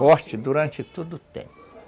Forte durante todo o tempo.